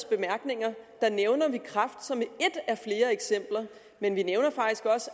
bemærkninger nævner kræft som et af flere eksempler men vi nævner